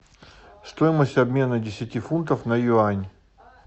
стоимость обмена десяти фунтов на юань